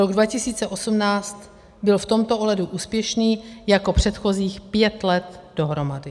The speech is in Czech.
Rok 2018 byl v tomto ohledu úspěšný jako předchozích pět let dohromady.